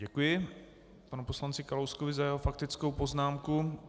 Děkuji panu poslanci Kalouskovi za jeho faktickou poznámku.